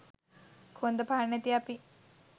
කොන්ද පන නැති අපි